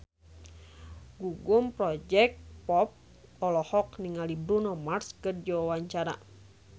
Gugum Project Pop olohok ningali Bruno Mars keur diwawancara